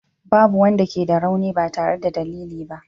Babu wanda ke da rauni ba tare da dalili ba.